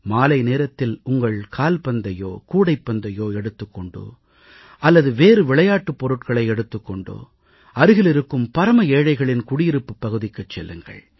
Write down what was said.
மாலை நேரத்தில் உங்கள் கால்பந்தையோ கூடைப்பந்தையோ எடுத்துக் கொண்டு அல்லது வேறு விளையாட்டுப் பொருட்களை எடுத்துக் கொண்டு அருகில் இருக்கும் பரம ஏழைகளின் குடியிருப்புப் பகுதிக்குச் செல்லுங்கள்